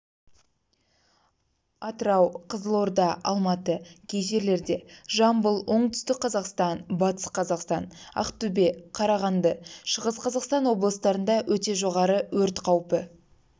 атырау қызылорда алматы кей жерлерде жамбыл оңтүстік-қазақстан батыс-қазақстан ақтөбе қарағанды шығыс-қазақстан облыстарында өте жоғары өрт қаупі